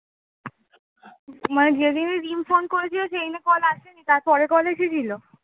মানে যেদিন phone করেছিল, সেদিন call আসেনি তার পরে এসেছিলো?